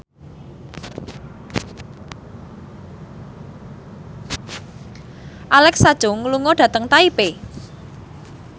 Alexa Chung lunga dhateng Taipei